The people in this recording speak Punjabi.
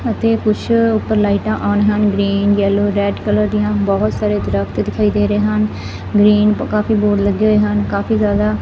ਅਤੇ ਕੁਛ ਉੱਪਰ ਲਾਈਟਾਂ ਆਣ ਹਨ ਗ੍ਰੀਨ ਯਲੋ ਰੈਡ ਕਲਰ ਦੀਆਂ ਬਹੁਤ ਸਾਰੇ ਦਰਖਤ ਦਿਖਾਈ ਦੇ ਰਹੇ ਹਨ ਗ੍ਰੀਨ ਕਾਫੀ ਬੋਰਡ ਲੱਗੇ ਹੋਏ ਹਨ ਕਾਫੀ ਜਿਆਦਾ।